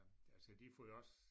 Altså de får jo også